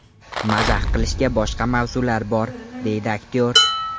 Mazax qilishga boshqa mavzular bor”, deydi aktyor.